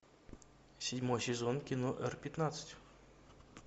седьмой сезон кино р пятнадцать